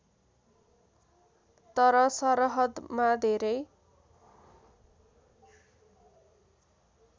तर सरहदमा धेरै